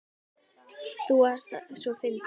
Amma þú varst svo fyndin.